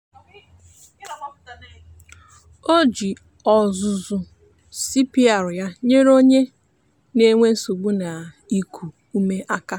o ji ọzụzụ cpr ya nyere onye onye na-enwe nsogbu n'iku ume aka.